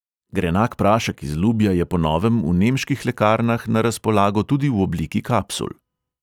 Grenak prašek iz lubja je po novem v nemških lekarnah na razpolago tudi v obliki kapsul.